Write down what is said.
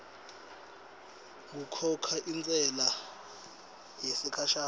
kukhokha intsela yesikhashana